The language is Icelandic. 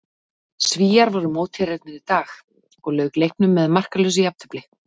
Svíar voru mótherjarnir í dag og lauk leiknum með markalausu jafntefli.